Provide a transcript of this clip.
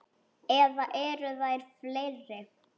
Eða eru þær fleiri?